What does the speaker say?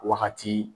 Wagati